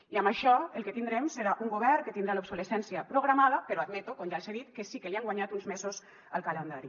i amb això el que tindrem serà un govern que tindrà l’obsolescència programada però admeto com ja els he dit que sí que li han guanyat uns mesos al calendari